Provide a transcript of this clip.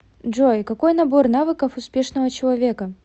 джой какой набор навыков успешного человека